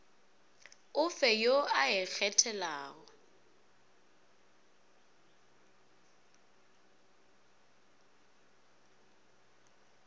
o fe yo o ikgethelago